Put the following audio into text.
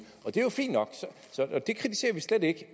og det er jo fint nok det kritiserer vi slet ikke